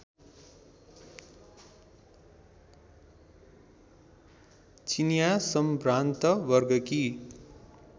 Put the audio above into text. चिनियाँ सम्भ्रान्त वर्गकी